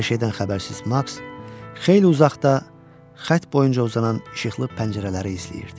Hər şeydən xəbərsiz maks xeyli uzaqda xətt boyunca uzanan işıqlı pəncərələri izləyirdi.